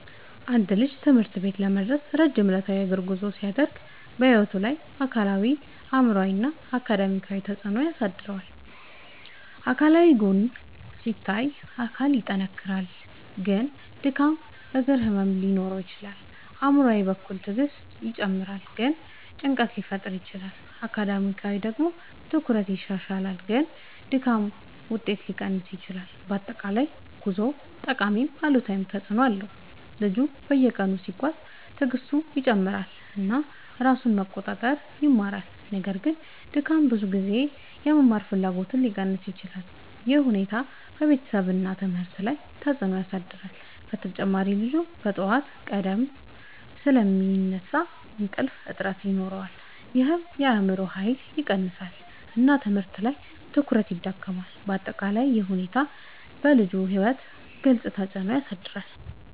አንድ ልጅ ትምህርት ቤት ለመድረስ ረጅም ዕለታዊ የእግር ጉዞ ሲያደርግ በሕይወቱ ላይ አካላዊ አእምሯዊ እና አካዳሚያዊ ተፅዕኖ ያሳድራል። አካላዊ ጎን ሲታይ አካል ይጠናከራል ግን ድካም እግር ህመም ሊኖር ይችላል። አእምሯዊ በኩል ትዕግስት ይጨምራል ግን ጭንቀት ሊፈጠር ይችላል። አካዳሚያዊ ደግሞ ትኩረት ይሻሻላል ግን ድካም ውጤት ሊቀንስ ይችላል። በአጠቃላይ ጉዞው ጠቃሚም አሉታዊም ተፅዕኖ አለው። ልጁ በየቀኑ ሲጓዝ ትዕግስቱ ይጨምራል እና ራሱን መቆጣጠር ይማራል። ነገር ግን ድካም ብዙ ጊዜ የመማር ፍላጎትን ሊቀንስ ይችላል። ይህ ሁኔታ በቤተሰብ እና ትምህርት ላይ ተጽዕኖ ያሳድራል። በተጨማሪ ልጁ በጠዋት ቀድሞ ስለሚነሳ እንቅልፍ እጥረት ይኖራል ይህም የአእምሮ ኃይልን ይቀንሳል እና ትምህርት ላይ ትኩረት ይዳክማል። በአጠቃላይ ይህ ሁኔታ በልጁ ሕይወት ግልጽ ተፅዕኖ ያሳድራል።